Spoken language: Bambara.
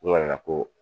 U nana ko